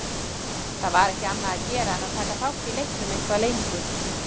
Það var ekki annað að gera en að taka þátt í leiknum eitthvað lengur.